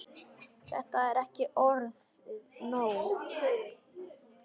Er þetta ekki orðið nóg?